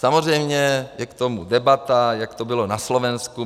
Samozřejmě je k tomu debata, jak to bylo na Slovensku.